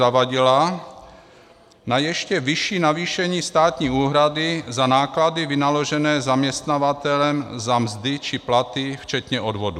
Zavadila na ještě vyšší navýšení státní úhrady za náklady vynaložené zaměstnavatelem za mzdy či platy včetně odvodů.